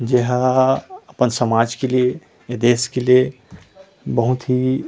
जहाँ अपन समाज के लिए ए देश के लिए बहुत ही--